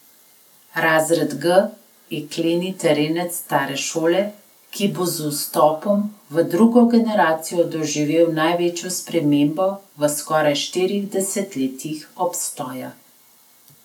Razred G je kleni terenec stare šole, ki bo z vstopom v drugo generacijo doživel največjo spremembo v skoraj štirih desetletjih obstoja.